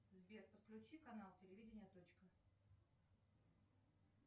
сбер подключи канал телевидения точка